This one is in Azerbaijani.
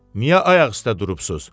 Niyə ayaq üstə durubsuz?